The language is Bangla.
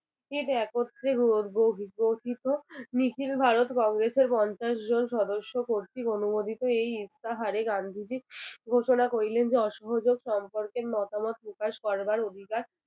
কি একত্রে গো গো গঠিত নিখিল ভারত কংগ্রেসের পঞ্চাশ জন সদস্য কর্তৃক অনুমোদিত এই ইস্তাহারে গান্ধীজি ঘোষণা করিলেন যে অসহযোগ সম্পর্কে মতামত প্রকাশ করিবার অধিকার